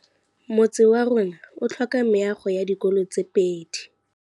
Motse warona o tlhoka meago ya dikolô tse pedi.